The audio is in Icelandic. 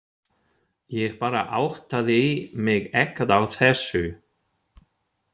Ég bara áttaði mig ekkert á þessu.